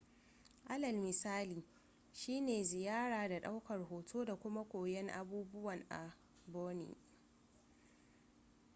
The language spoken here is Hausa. alal misali shi ne ziyara da daukar hoto da kuma koyon abubuwan a borneo